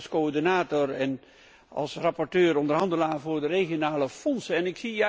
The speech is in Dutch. Ik spreek ook als coördinator en als rapporteur onderhandelaar voor de regionale fondsen.